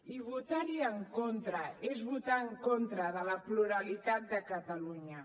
i votar hi en contra és votar en contra de la pluralitat de catalunya